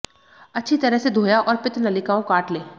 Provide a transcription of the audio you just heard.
अच्छी तरह से धोया और पित्त नलिकाओं काट लें